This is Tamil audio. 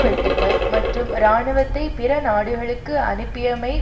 வெட்டுக்கள் மற்றும் இராணுவத்தை பிற நாடுகளுக்கு அனுப்பியமை